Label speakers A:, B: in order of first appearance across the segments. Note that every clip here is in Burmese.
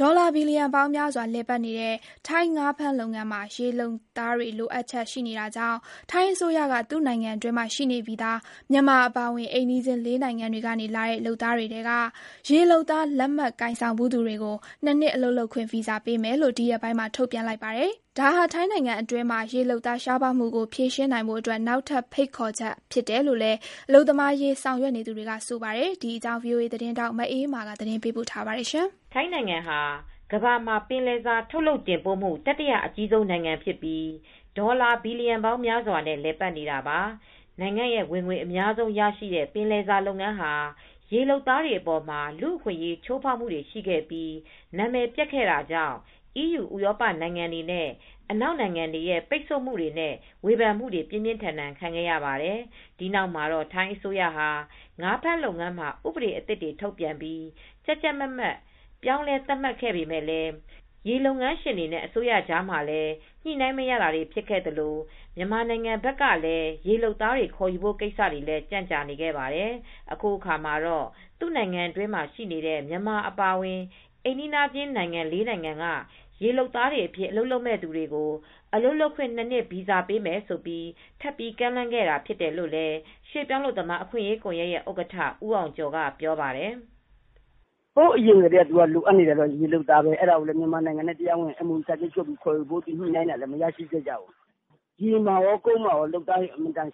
A: ဒေါ်လာ ဘီလီယံပေါင်းများစွာနဲ့ လည်ပတ်နေတဲ့ ထိုင်းငါးဖမ်းလုပ်ငန်းမှာ ရေ လုပ်သားတွေလိုအပ်ချက်ရှိနေတာကြောင့် ထိုင်းအစိုးရက သူ့နိုင်ငံအတွင်းမှာရှိနေပြီးသား မြန်မာအပါအဝင် အိမ်နီးချင်း ၄နိုင်ငံတွေကနေလာတဲ့ လုပ်သားတွေထဲက ရေလုပ်သားလက်မှတ် ကိုင်ဆောင်ဘူးသူတွေကို ၂နှစ် အလုပ်လုပ်ခွင့်ဗီဇာပေးမယ်လို့ ဒီရက်ပိုင်းမှာပဲ ထုတ်ပြန်လိုက်ပါတယ်။ ဒါဟာ ထိုင်းနိုင်ငံအတွင်းမှာ ရေလုပ်သားရှားပါးမူကို ဖြေရှင်းနိုင်ဖို့အတွက် နောက်ထပ် ဖိတ်ခေါ်ချက်ဖြစ်တယ်လို့လည်း အလုပ်သမားရေးဆောင်ရွက်နေသူတွေက ဆိုပါတယ်။ ဒီအကြောင်း ဗွီအိုအေ သတင်းထောက် မအေးအေးမာက သတင်းပေးပို့ထားပါတယ်။ ထိုင်းနိုင်ငံဟာ ကမ္ဘာမှာပင်လယ်စာ ထုတ်လုပ်တင်ပို့မှု တတိယအကြီးဆုံး နိုင်ငံဖြစ်ပြီး ဒေါ်လာဘီလီယံပေါင်းများစွာနဲ့ လည်ပတ်နေတာပါ ။နိုင်ငံဝင်ငွေအများဆုံးရရှိတဲ့ ပင်လယ်စာလုပ်ငန်းဟာ ရေလုပ်သားတွေအပေါ်မှာ လူ့အခွင့်ရေးချိုးဖောက်မှုတွေရှိခဲ့ပြီး နာမည်ပျက်ခဲ့တာကြောင့် အီးယူဥရောပနိုင်ငံတွေနဲ့အနောက်နိုင်ငံတွေရဲ့ပိတ်ဆို့မှုတွေနဲ့ ဝေဖန်မှုတွေပြင်းပြင်းထန်ထန်ခံခဲ့ရပါတယ်။ ဒီနောက်မှာတော့ ထိုင်းအစိုးရဟာ ငါးဖမ်းလုပ်ငန်းမှာ ဥပဒေအသစ်တွေထုတ်ပြန်ပြီး ကြပ်ကြပ်မတ်မတ် ပြောင်းလဲသတ်မှတ်ပေးခဲ့ပေမယ့် လည်း ရေလုပ်ငန်းရှင်တွေနဲ့အစိုးရကြားမှာလည်း ညှိနိုင်းမရတာတွေဖြစ်ခဲ့သလို မြန်မာနိုင်ငံဘက်ကလည်းရေလုပ်သားတွေ ခေါ်ယူဖို့ကိစ္စတွေလည်းကြန့်ကြာနေခဲ့ပါတယ် အခုအခါမှာတော့ သူ့နိုင်ငံအတွင်းမှာရှိနေတဲ့ မြန်မာအပါအဝင် အိမ်နီးချင်း၄နိုင်ငံက ရေလုပ်သားအဖြစ် အလုပ်လုပ်မယ့်သူတွေကို အလုပ်လုပ်ခွင့်၂နှစ်ဗီဇာပေးမယ်ဆိုပြိး ထပ်ပြီးကမ်းလှမ်းခဲ့တာဖြစ်တယ်လို့ ရွှေ့ပြောင်းအလုပ်သမားအခွင့်ရေးကွန်ယက်ရဲ့ဥက္ကဋ္ဌ ဦးအောင်ကျော်က ပြောပါတယ်။
B: “ဟိုးအရင်ကတည်းကလိုအပ်နေတာကတော့ ရေလုပ်သားတွေပဲ။ အဲဒါကို မြန်မာနဲ့ တရားဝင် MOU စာချုပ်ချုပ်ပြီးခေါ်ယူဖို့ ညှိနိုှုင်းတာလည်း မရခဲ့ဘူး။ ရေမှာကော ကုန်းမှာကော လုပ်သားတွေ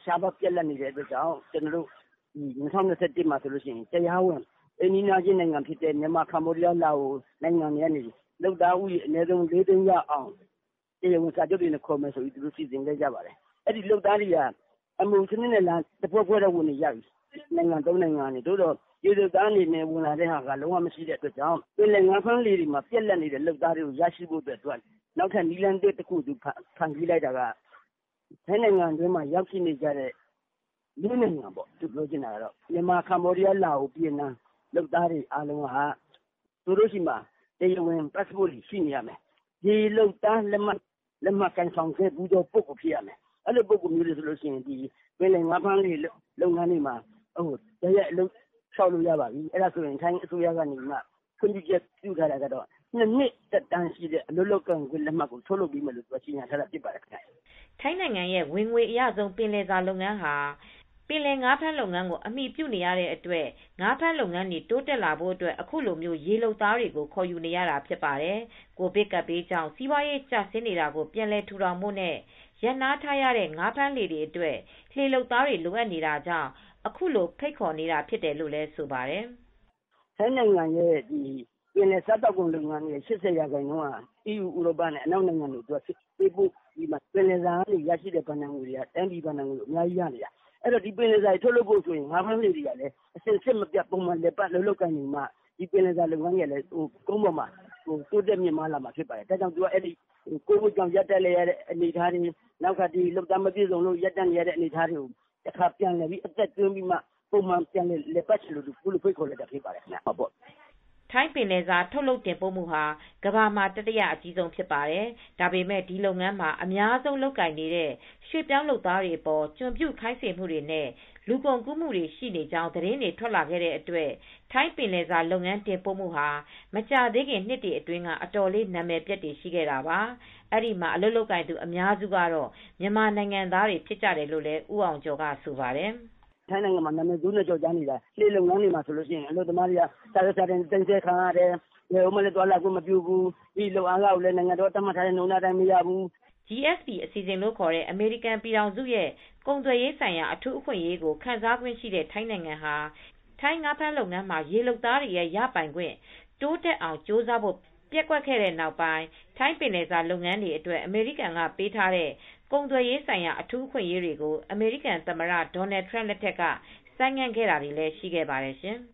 B: ရှားပါးပြတ်လတ်တဲ့အတွက် ၂၀၂၁ ခုနှစ်မှာ တရားဝင် အိမ်နီးချင်းနိုင်ငံဖြစ်တဲ့ မြန်မာ၊ ကမ္ဘောဒီးယား၊ လာအိုဝ့် နိုင်ငံတွေကနေ တရားဝင်လုပ်သား ၄ သိန်းရအောင် တရားဝင်စာချုပ်တွေနဲ့ခေါ်မယ်ဆိုပြီးစီစဉ်ခဲ့ကြပါတယ်။ အခု MOU နဲ့ခေါ်တဲ့လုပ်သားတွေဝင်လာကြပေမယ့် နှစ်နိုင်ငံ သုံးနိုင်ငံကနေ ပေါ့။ ဒါပေမယ့် ရေလုပ်သားအနေနဲ့ တရားဝင်လာတဲ့သူတွေမရှိတဲ့အတွက် ပင်လယ်ငါးဖမ်းလုပ်ငန်းတွေမှာ လိုအပ်တဲ့လုပ်သားတွေပြတ်လတ်နေတဲ့လုပ်သားတွေရရှိဖို့အတွက် နည်းလမ်းအသစ်တွေ ဖန်တီးလိုက်တယ်။ ထိုင်းနိုင်ငံတွင်းရောက်ရှိနေကြတဲ့ ၄နိုင်ငံက မြန်မာ၊ ကမ္ဘောဒီးယား၊ လာအိုဝ့်၊ ဗီယက်နမ် လုပ်သားတွေထဲက သူတို့ဆီမှာ တရားဝင် ပတ်စပို့လည်းရှိရမယ်၊ ရေလုပ် သားအဖြစ် လုပ်ကိုင်ဖူးတဲ့လက်မှတ်တွေလည်းရှိရမယ်။ အဲဒီပုဂိုလ်မျိုးတွေက ပင်လယ်ငါးဖမ်းလုပ်ငန်းတွေမှာ တိုက်ရိုက်အလုပ်လျောက်လို့ရပြီ။ ထိုင်းအစိုးရက ခွင့်ပြုထားတာကတော့ ၂နှစ်သက်တမ်းရှိတဲ့ အလုပ်လုပ်ခွင့်လက်မှတ်ကို ထုတ်လုပ်ပေးမယ်လို့ ကြေညာထားပါတယ်။” ထိ
A: ုင်းနိုင်ငံရဲ့ဝင်ငွေအရဆုံး ပင်လယ်စာလုပ်ငန်းဟာ ပင်လယ်ငါးဖမ်းလုပ်ငန်းကိုအမှီပြုနေရတဲ့အတွက် ငါးဖမ်းလုပ်ငန်းတွေတိုးတက်လာဖို့ အခုလိုရေလုပ်သားတွေကို ခေါ်ယူနေရတာဖြစ်ပါတယ်။ ကိုဗစ်ကပ်ဘေးကြောင့် စီးပွာရေးကျဆင်းနေတာကို ပြန်လည်ထူထောင်ဖို့နဲ့ ရပ်နားထားရတဲ့ငါးဖမ်းလှေတွေအတွက်ရေလုပ်သားတွေလိုအပ်နေတာကြောင့်အခုလိုဖိတ်ခေါ်နေတာဖြစ်တယ်လို့လည်း ဆိုပါတယ်။
B: “ထိုင်းနိုင်ငံရဲ့ပင်လယ်စာလုပ်ငန်းရဲ့၈၀ ရာခိုင်နှုန်းကတော့ EU ဥရောပနိုင်ငံတွေနဲ့ အနောက်နိုင်ငံတွေကိုပေးပို့ပြီးတော့မှ ပင်လယ်စာနဲ့ရရှိတာကတော့ တိုင်းပြည် ဘဏ္ဍာငွေတွေအများကြီးရှိတယ်။ ဒီပင်လယ်စာတွေထုတ်လုပ်ဖို့ ကလည်း ငါးဖမ်းလှေတွေကလည်း စဉ်ဆက်မပြတ်ပုံမှန်လည်ပတ်နေမှ ကုန်းပေါ်မှာ တိုးတက်မြင့်မားလာမှာဖြစ်တယ်။ ကိုဗစ်ကြောင့်ရပ်နားနေရတဲ့အနေအထားတွေ နောက်ထပ် ရေလုပ်သမားမပြည့်စုံလို့ ငါးဖမ်းလုပ်ငန်းတွေရပ်တန့်နေရတဲ့အနေအထားတွေကို တခါပြန်ပြီး အသက်သွင်းပြီး ပုံမှန်လည်ပတ်ဖို့အခုလိုပြန်ပြီး ဖိတ်ခေါ်လိုက်တာဖြစ်ပါတယ်။”
A: ထိုင်းပင်လယ်စာ ထုတ်လုပ်တင်ပို့မှုဟာ ကမ္ဘာမှာ တတိယအကြီးဆုံး ဖြစ်ပါတယ်။ ဒါပေမယ့် ဒီလုပ်ငန်းမှာ အများဆုံးလုပ်ကိုင်နေတဲ့ ရွှေ့ပြောင်းလုပ်သားတွေအပေါ် ကျွန်ပြုခိုင်းစေမှုတွေနဲ့ လူကုန်ကူးမှုတွေ ရှိနေကြောင်း သတင်းတွေ ထွက်လာတဲ့အတွက် ထိုင်းပင်လယ်စာလုပ်ငန်း တင်ပို့မှုဟာ မကြာသေးခင်နှစ်တွေအတွင်းက အတော်လေး နာမည်ပျက်ခဲ့တာပါ။ အဲဒီမှာအလုပ်လုပ်ကိုင်သူအများစုက မြန်မာနိုင်ငံသားတွေဖြစ်ကြပါတယ်လို့လည်း ဦးအောင်ကျော်က ဆိုပါတယ်။
B: “ထိုင်းနိုင်ငံမှာနာမည်ဆိုးနဲ့ကျော်ကြားနေတာကတော့ လှေလုပ်ငန်းတွေမှာ ဆိုရင် အလုပ်သမားတွေက စာရွက်စာတမ်းတွေသိမ်းဆည်းခံရတယ်။ ဘယ်မှ သွားလာလို့မရဘူး။ လုပ်အားခံတွေကလည်း နိုင်ငံတော်က သတ်မှတ်ထားတဲ့အခကြေးငွေအတိုင်းမရဘူး။
A: ” GSP အစီအစဉ်လို့ခေါ်တဲ့ အမေရိကန်ပြည်ထောင်စုရဲ့ ကုန်သွယ်ရေးဆိုင်ရာ အထူးအခွင့်အရေးကို ခံစားခွင့်ရှိတဲ့ထိုင်းနိုင်ငံဟာ ထိုင်းငါးဖမ်းလုပ်ငန်းမှာ ရေလုပ်သားတွေရဲ့ ရပိုင်ခွင့် တိုးတက်အောင် ကြိုးစားဖို့ ပျက်ကွက်ခဲ့တဲ့နောက်ပိုင်း ထိုင်းပင်လယ်စာလုပ်ငန်းတွေအတွက် အမေရိကန်ကပေးထားတဲ့ ကုန်သွယ်ရေးဆိုင်ရာ အထူးအခွင့်အရေးတွေကို အမေရိကန်သမ္မတ Donald Trump လက်ထက်ကဆိုင်းငံ့ခဲ့တာတွေလည်းရှိခဲ့ပါတယ်ရှင်။